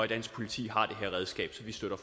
dansk politi har det her redskab så vi støtter